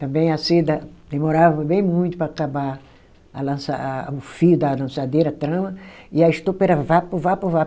Também a seda demorava bem muito para acabar lança a, o fio da lançadeira, a trama, e a estopa era vapo, vapo, vapo.